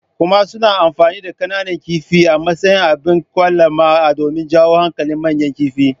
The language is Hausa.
Kuma suna amfani da kananan kifi a matsayin abin kwalama domin jawo hankalin manyan kifaye.